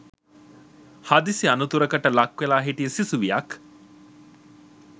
හදිසි අනතුරකට ලක්වෙල හිටිය සිසුවියක්